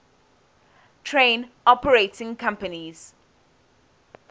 train operating companies